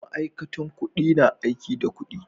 Ma'aikatan kudi na aiki da kudi.